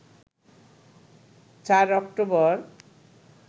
৪ October